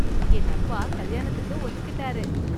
என் அப்பா கல்யாணத்துக்கு ஒத்துக்கிட்டாரு